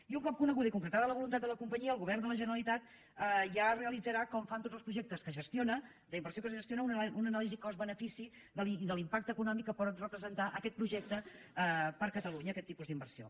i un cop coneguda i concretada la voluntat de la compa·nyia el govern de la generalitat ja realitzarà com fa en tots els projectes d’inversió que gestiona una anà·lisi cost benefici i de l’impacte econòmic que pot repre·sentar aquest projecte per a catalunya aquest tipus d’inversió